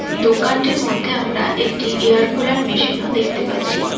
দোকানটির মধ্যে আমরা একটি এয়ার কুলার মেশিন -ও দেখতে পাচ্ছি।